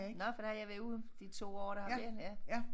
Nåh for der har jeg været ude de 2 år der har været ja